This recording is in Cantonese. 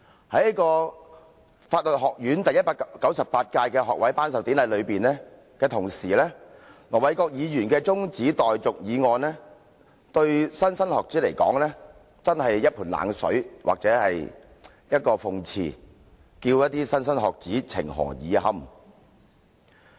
在法律學院舉行學位頒授典禮之際，盧議員的中止待續議案對莘莘學子來說，真是一盆冷水或一個諷刺，叫莘莘學子情何以堪？